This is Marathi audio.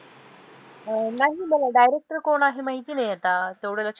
नाही मला director कोण आहे, माहिती नाही आता, तेवढं लक्ष